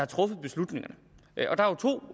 truffet beslutningerne